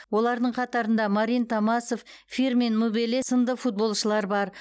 олардың қатарында марин томасов фирмин мубеле сынды футболшылар бар